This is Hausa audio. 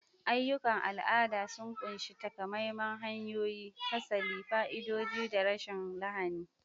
Ayyukan al'ada sun ƙunshi takamaiman hanyoyi, fasali, fa'idodi, da rashin lahani.